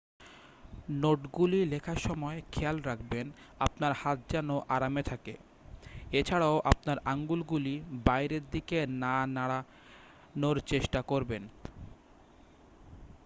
নোটগুলি লেখার সময় খেয়াল রাখবেন আপনার হাত যেন আরামে থাকে এ ছাড়াও আপনার আঙুলগুলি বাইরের দিকে না নাড়ানোর চেষ্টা করবেন